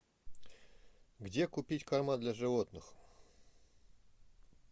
где купить корма для животных